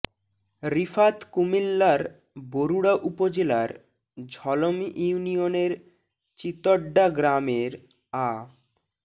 রিফাত কুমিল্লার বরুড়া উপজেলার ঝলম ইউনিয়নের চিতড্ডা গ্রামের আ